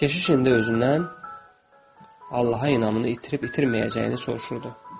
Keşiş indi özündən Allaha inamını itirib-itirməyəcəyini soruşurdu.